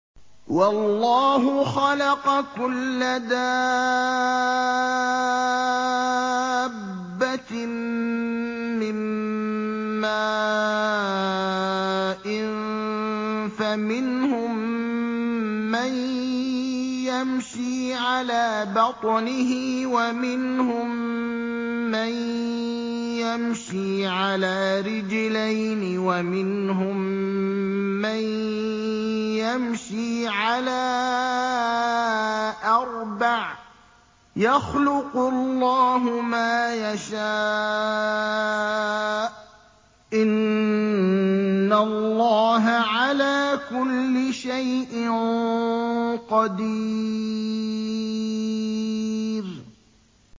وَاللَّهُ خَلَقَ كُلَّ دَابَّةٍ مِّن مَّاءٍ ۖ فَمِنْهُم مَّن يَمْشِي عَلَىٰ بَطْنِهِ وَمِنْهُم مَّن يَمْشِي عَلَىٰ رِجْلَيْنِ وَمِنْهُم مَّن يَمْشِي عَلَىٰ أَرْبَعٍ ۚ يَخْلُقُ اللَّهُ مَا يَشَاءُ ۚ إِنَّ اللَّهَ عَلَىٰ كُلِّ شَيْءٍ قَدِيرٌ